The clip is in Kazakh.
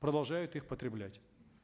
продолжают их потреблять